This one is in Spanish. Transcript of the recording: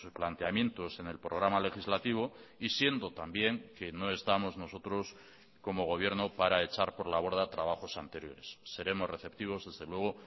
planteamientos en el programa legislativo y siendo también que no estamos nosotros como gobierno para echar por la borda trabajos anteriores seremos receptivos desde luego